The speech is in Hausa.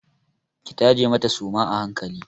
Ki tace mata suma a hankali!